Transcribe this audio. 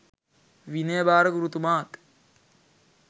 විනය භාර ගුරුතුමාත්